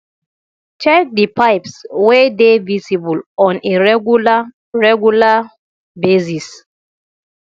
check di pipes wey dey visible on a regular regular basis